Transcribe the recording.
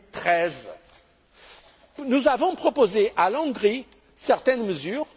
2013. Nous avons proposé à la Hongrie certaines mesures.